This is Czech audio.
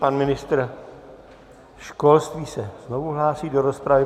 Pan ministr školství se znovu hlásí do rozpravy.